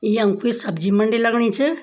यम कुई सब्जी मंडी लगणी च।